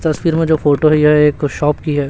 तस्वीर में जो फोटो है यह एक शॉप की है।